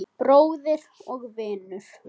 Bróðir og vinur.